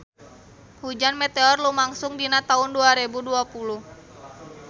Hujan meteor lumangsung dina taun dua rebu dua puluh